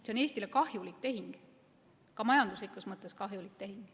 See on Eestile kahjulik tehing, ka majanduslikus mõttes kahjulik tehing.